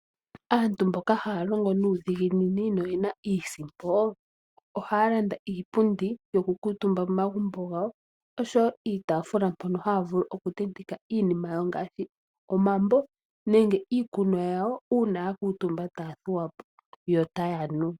Aantu mboka haya longo nuudhiginini noyena iisimpo ohaya landa iipundi yokukuutumba momagumbo gawo oshowo iitaafula mpono haya vulu okutenteka iinima yawo ngaashi omambo nenge iikunwa yawo uuna ya kuutumba taya thuwa po notaya nu.